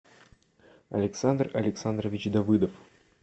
александр александрович давыдов